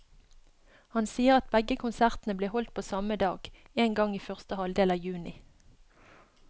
Han sier at begge konsertene blir holdt på samme dag, en gang i første halvdel av juni.